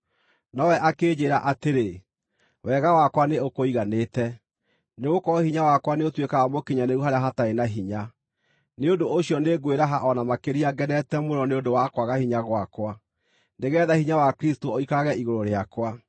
Nowe akĩnjĩĩra atĩrĩ, “Wega wakwa nĩũkũiganĩte, nĩgũkorwo hinya wakwa nĩũtuĩkaga mũkinyanĩru harĩa hatarĩ na hinya.” Nĩ ũndũ ũcio nĩngwĩraha o na makĩria ngenete mũno nĩ ũndũ wa kwaga hinya gwakwa, nĩgeetha hinya wa Kristũ ũikarage igũrũ rĩakwa.